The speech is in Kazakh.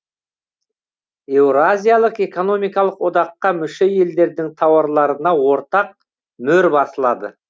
еуразиялық экономикалық одаққа мүше елдердің тауарларына ортақ мөр басылады